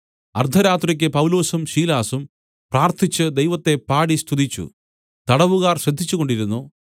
അർദ്ധരാത്രിക്ക് പൗലൊസും ശീലാസും പ്രാർത്ഥിച്ച് ദൈവത്തെ പാടി സ്തുതിച്ചു തടവുകാർ ശ്രദ്ധിച്ചുകൊണ്ടിരുന്നു